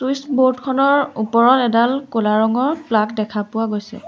Switch board খনৰ ওপৰত এডাল ক'লা ৰঙৰ প্লাগ দেখা গৈছে।